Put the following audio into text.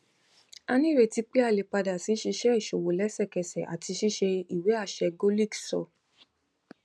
a nireti pe a le pada si ṣiṣe iṣowo lẹsẹkẹsẹ ati ṣiṣe iwe aṣẹ golix sọ